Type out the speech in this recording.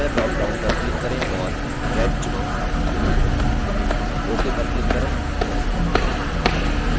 font color dropdown पर click करें और red चुनें ok पर click करें